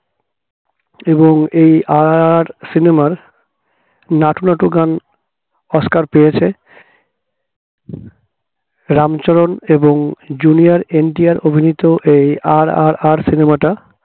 এবং এই RRR cinema র নাটু নাটু গান অস্কার পেয়েছে রামচরণ এবং junior এনটিআর অভিনীত এই RRR cinema টা